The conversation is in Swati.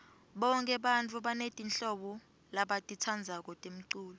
bonke bantfu banetimhlobo labatitsandzako temculo